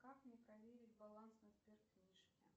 как мне проверить баланс на сберкнижке